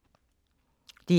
DR2